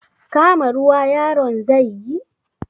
Kama ruwa yaron zai yi?